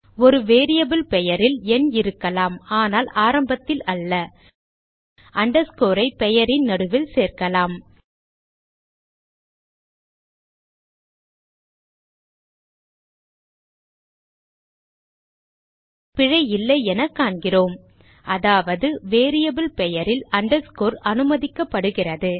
ஒரு வேரியபிள் பெயரில் எண் இருக்கலாம் ஆனால் ஆரம்பத்தில் அல்ல underscore ஐ பெயரின் நடுவில் சேர்க்கலாம் பிழை இல்லையென காண்கிறோம் அதாவது வேரியபிள் பெயரில் அண்டர்ஸ்கோர் அனுமதிக்கப்படுகிறது